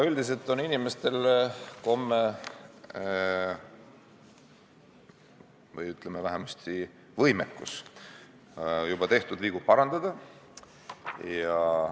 Üldiselt on inimestel komme või vähemasti võimekus tehtud vigu parandada.